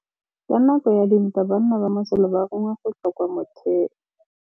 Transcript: Ka nakô ya dintwa banna ba masole ba rongwa go tswa kwa mothêô.